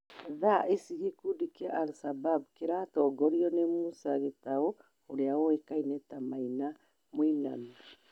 Thaa ici gĩkundi kĩa al-shabab kĩratongorio nĩ Musa Gĩtaũ ũrĩa ũĩkaine ta Maina Mũinami